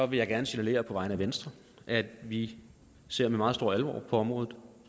vil jeg gerne signalere på vegne af venstre at vi ser med meget stor alvor på området